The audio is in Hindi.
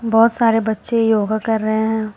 बहोत सारे बच्चे योगा कर रहे हैं।